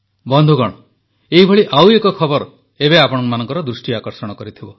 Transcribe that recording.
ବନ୍ଧୁଗଣ ଏହିପରି ଏବେ ଗୋଟିଏ ଖବର ଆପଣମାନଙ୍କ ଦୃଷ୍ଟି ଆକର୍ଷଣ କରିଥିବ